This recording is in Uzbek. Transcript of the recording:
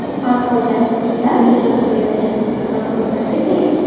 Har holda kimlar ijod qilayotgani sizni qiziqtirsa kerak?